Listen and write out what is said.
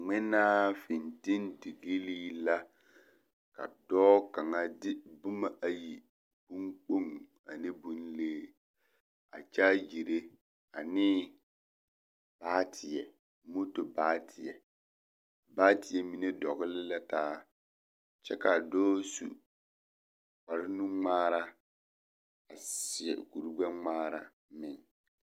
Ngmenaa fintildigilii la ka dɔɔ kaŋa de boma ayi bon kpoŋ ane bonlee a kyaagire anee baateɛ moto baateɛ baateɛ mine dɔgle la taa kyɛ kaa dɔɔ su kpare nungmaara a seɛ kuri gbɛngmaara meŋ.